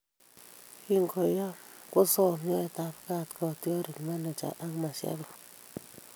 Kingoyam kosoom nyoetab kaat kotiorik ,manager ak mashabik